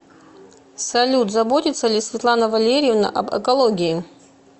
салют заботится ли светлана валерьевна об экологии